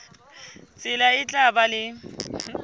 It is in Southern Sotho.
tsela e tla ba le